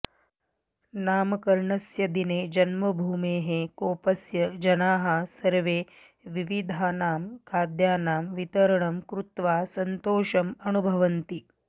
नामकरणस्य दिने जन्मभूमेः कोप्पस्य जनाः सर्वे विविधानां खाद्यानां वितरणं कृत्वा सन्तोषम् अनुभवन्ति